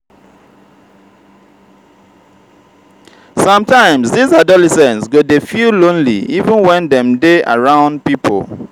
sometimes dese adolescents go dey feel lonely even wen dem dey around pipo.